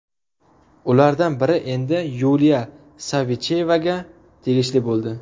Ulardan biri endi Yuliya Savichevaga tegishli bo‘ldi.